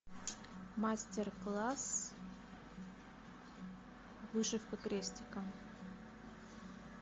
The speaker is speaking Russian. мастер класс вышивка крестиком